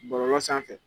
Bɔlɔlɔ sanfɛ